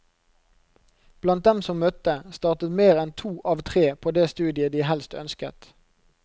Blant dem som møtte, startet mer enn to av tre på det studiet de helst ønsket.